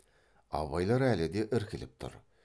абайлар әлі де іркіліп тұр